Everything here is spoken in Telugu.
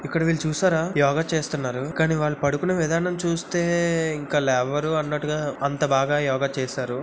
ఇక్కడ వీళ్లు చూశారా యోగా చేస్తున్నారు. కానీ వాళ్లు పడుకున్న విధానం చూస్తే ఇంకా లేవరు అన్నట్టుగా. అంత బాగా యోగా చేశారు.